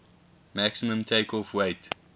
maximum takeoff weight